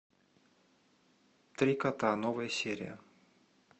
три кота новая серия